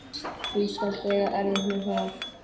Þú skalt eiga erfitt með það.